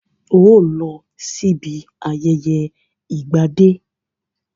Óò lọ sí ibi ayẹyẹ ìgbà dé!